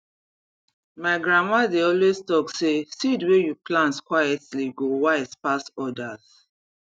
my grandma dey always talk say seed wey you plant quietly go wise pass others